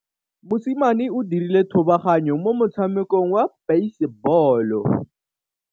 Mosimane o dirile thubaganyô mo motshamekong wa basebôlô.